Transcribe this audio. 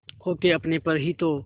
खो के अपने पर ही तो